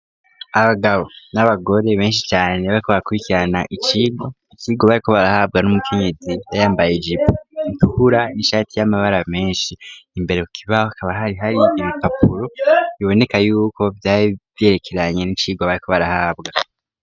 Abagabo n'abagore benshi cane bari ko barakubikirana icirwa ikirwa bariko barahabwa numukenyezo yari yayambaye ijipo itukura n'ishati y'amabara menshi . Imbere kukibaho kaba hari hari ibipapuro biboneka yuko vyari vyerekeranye n'icirwa bari ko barahabwa.